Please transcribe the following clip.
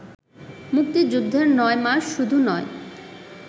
মুক্তিযুদ্ধের নয় মাস শুধু নয়